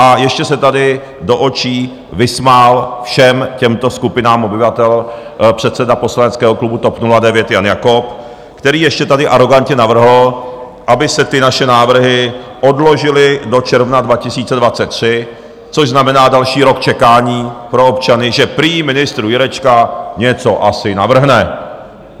A ještě se tady do očí vysmál všem těmto skupinám obyvatel předseda poslaneckého klubu TOP 09 Jan Jakob, který ještě tady arogantně navrhl, aby se ty naše návrhy odložily do června 2023, což znamená další rok čekání pro občany, že prý ministr Jurečka něco asi navrhne.